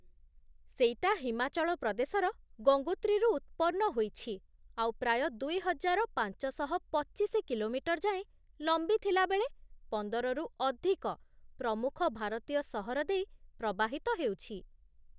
ସେଇଟା ହିମାଚଳ ପ୍ରଦେଶର ଗଙ୍ଗୋତ୍ରୀରୁ ଉତ୍ପନ୍ନ ହୋଇଛି ଆଉ ପ୍ରାୟ ଦୁଇ ହଜାର ପାଞ୍ଚଶହ ପଚିଶି କିଲୋମିଟର୍ ଯାଏଁ ଲମ୍ବି ଥିଲାବେଳେ, ପନ୍ଦରରୁ ଅଧିକ ପ୍ରମୁଖ ଭାରତୀୟ ସହର ଦେଇ ପ୍ରବାହିତ ହେଉଛି ।